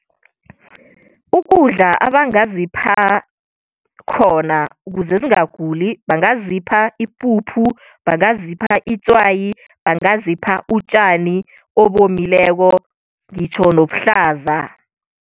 Ukudla abangazipha khona kuze zingaguli bangazipha ipuphu, bangazipha itswayi, bangazipha utjani obomileko ngitjho nobuhlaza.